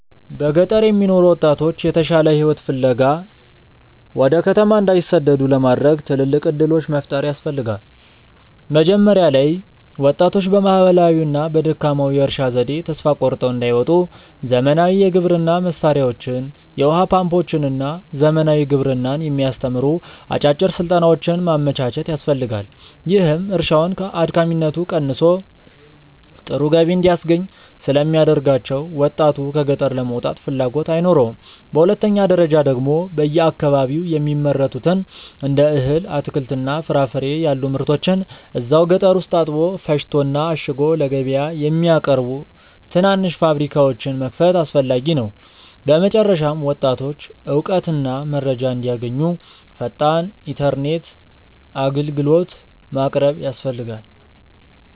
በገጠር የሚኖሩ ወጣቶች የተሻለ ሕይወት ፍለጋ ወደ ከተማ እንዳይሰደዱ ለማድረግ ትልልቅ ዕድሎች መፍጠር ያስፈልጋ። መጀመሪያ ላይ ወጣቶች በባህላዊውና በደካማው የእርሻ ዘዴ ተስፋ ቆርጠው እንዳይወጡ ዘመናዊ የግብርና መሣሪያዎችን፣ የውኃ ፓምፖችንና ዘመናዊ ግብርናን የሚያስተምሩ አጫጭር ሥልጠናዎችን ማመቻቸት ያስፈልጋል፤ ይህም እርሻውን አድካሚነቱ ቀንሶ ጥሩ ገቢ እንዲያስገኝ ስለሚያደርጋቸው ወጣቱ ከገጠር ለመውጣት ፍላጎት አይኖረውም። በሁለተኛ ደረጃ ደግሞ በየአካባቢው የሚመረቱትን እንደ እህል፣ አትክልትና ፍራፍሬ ያሉ ምርቶችን እዛው ገጠር ውስጥ አጥቦ፣ ፈጭቶና አሽጎ ለገበያ የሚያቀርቡ ትናንሽ ፋብሪካዎችን መክፈት አስፈላጊ ነው። በመጨረሻም ወጣቶች እውቀትና መረጃ እንዲያገኙ ፈጣን ኢተርኔት አግልግሎት ማቅረብ ያስፈልጋል